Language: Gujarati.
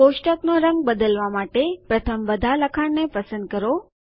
કોષ્ટકનો રંગ બદલવા માટે પ્રથમ બધા લખાણને પસંદ કરો